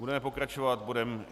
Budeme pokračovat bodem